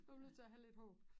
Man bliver nødt til at have lidt håb